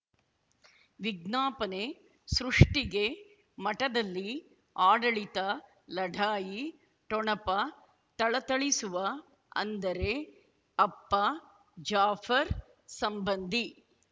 ವಿಜ್ಞಾಪನೆ ಸೃಷ್ಟಿಗೆ ಮಠದಲ್ಲಿ ಆಡಳಿತ ಲಢಾಯಿ ಠೊಣಪ ಥಳಥಳಿಸುವ ಅಂದರೆ ಅಪ್ಪ ಜಾಫರ್ ಸಂಬಂಧಿ